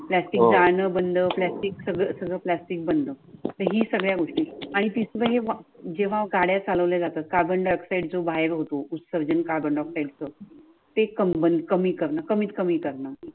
प्लास्टिकचा आन बंद प्लास्टिक सगळ सगळ प्लास्टिक बंद. ही सगळ्या गोष्टी आणि तुम्ही जेव्हा गाड्या चालवल्या जातात carbon dioxide जो बाहेर होतो उत्सर्ज carbon dioxide च ते कमीत कमी कमीत कमी करण